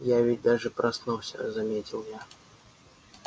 я ведь даже проснулся заметил я